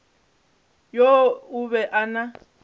yoo o be a na